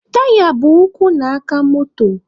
Taya bụ ụkwụ na aka moto.